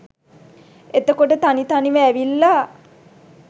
එතකොට තනි තනිව ඇවිල්ල